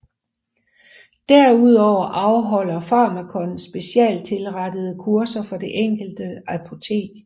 Derudover afholder Pharmakon specialstilrettede kurser for det enkelte apotek